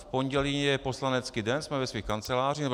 V pondělí je poslanecký den, jsme ve svých kancelářích.